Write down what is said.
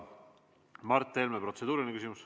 Mart Helmel on protseduuriline küsimus.